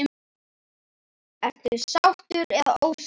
Ertu sáttur eða ósáttur?